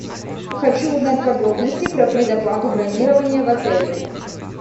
хочу узнать подробности про предоплату бронирования в отеле